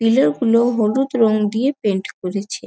Pillar গুলো হলুদ রং দিয়ে পেন্ট করেছে।